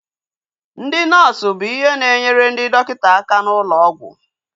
Ndị nọọsu bụ ihe na-enyere ndị dọkịta aka n'ụlọ ọgwụ